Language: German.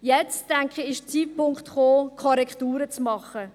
Ich denke, jetzt ist der Zeitpunkt gekommen, Korrekturen zu machen.